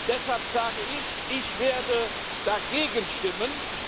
Deshalb sage ich Ich werde dagegen stimmen.